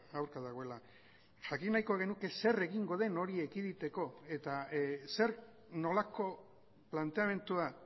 aurka dagoela jakin nahiko genuke zer egingo den hori ekiditeko eta zer nolako planteamendua